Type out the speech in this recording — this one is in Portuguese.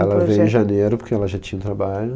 Ela veio em janeiro porque ela já tinha um trabalho.